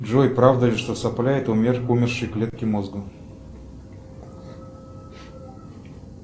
джой правда ли что сопля это умершие клетки мозга